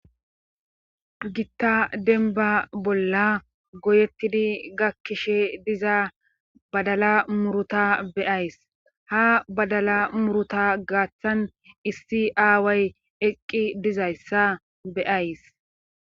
gitta denba bolla goyettidi gakkishe diza badala muruta beyays ha badala muruta gaaththan issi aaway eqqi dizayssa beyays